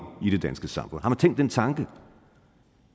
i det danske samfund har man tænkt den tanke